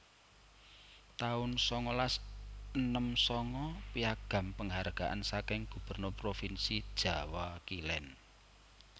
taun sangalas enem sanga Piagam Penghargaan saking Gubernur Provinsi Jawa Kilen